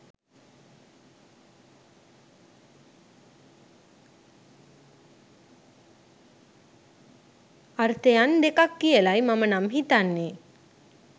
අර්ථයන් දෙකක් කියලයි මම නම් හිතන්නේ